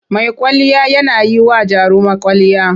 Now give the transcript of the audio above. Mai kwalliya yana yi wa jaruma kwwalliya.